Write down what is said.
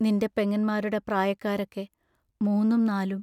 നിൻറ പെങ്ങന്മാരുടെ പ്രായക്കാരൊക്കെ മൂന്നും നാലും.